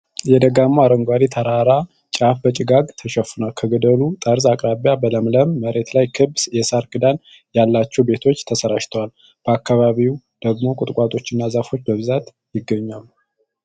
የደጋማው የአረንጓዴ ተራራ ጫፍ በጭጋግ ተሸፍኗል፤ ከገደሉ ጠርዝ አቅራቢያ በለምለም መሬት ላይ ክብ የሳር ክዳን ያላቸው ቤቶች ተሰራጭተዋል። በአካባቢው ደግሞ ቁጥቋጦና ዛፎች በብዛት ይገኛሉ።